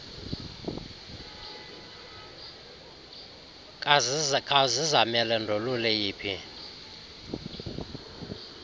kazizamele ndolule yiphi